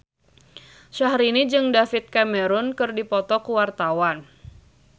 Syahrini jeung David Cameron keur dipoto ku wartawan